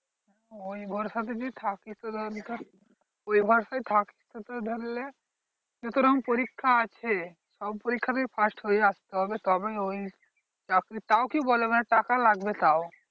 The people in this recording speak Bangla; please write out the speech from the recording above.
ওই ভরসাতে যদি থাকি তো ধর ওই ভরসায় থাকতে তো ধরলে, যত রকম পরীক্ষা আছে সব পরীক্ষা তেই first হয়ে আসতে হবে তবে ওই চাকরি। তাও কি বলে? মানে টাকা লাগবে তাও।